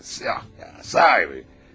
Ah, əlbəttə, sahibi.